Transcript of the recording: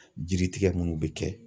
Jiritigɛ minnu bɛ kɛ